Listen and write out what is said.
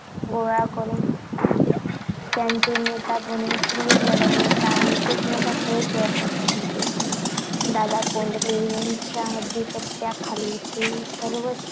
गोळा करून त्यांचे नेता बनून किल्ले लढवण्याचा आणि जिंकण्याचा खेळ खेळत असे. दादा कोंडदेव यांच्या अधिपत्याखाली ते सर्व